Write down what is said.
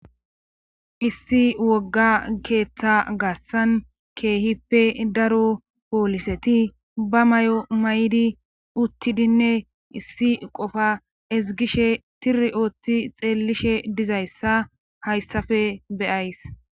Issi wogga keetha garssan keehippe daro pooliseti ba mayo mayidinne uttidinne issi qifa ezggishe tirri oothi xeellishe dizayssa hayssafe be7ays.